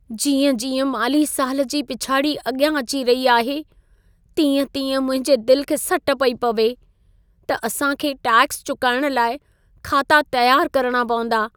जीअं-जीअं माली साल जी पिछाड़ी अॻियां अची रही आहे, तीअं-तीअं मुंहिंजे दिल खे सट पई पवे, त असां खे टैक्स चुकाइण लाइ खाता तियार करणा पवंदा।